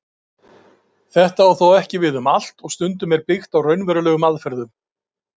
Þetta á þó ekki við um allt og stundum er byggt á raunverulegum aðferðum.